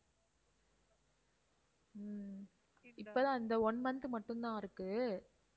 உம் இப்ப தான் இந்த one month மட்டும் தான் இருக்கு